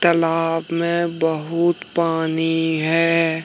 तालाब में बहुत पानी है।